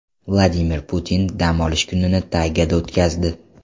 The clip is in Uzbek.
Vladimir Putin dam olish kunini taygada o‘tkazdi.